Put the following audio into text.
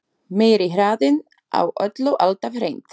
Meiri hraðinn á öllu alltaf hreint.